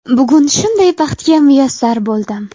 Bugun shunday baxtga muyassar bo‘ldim.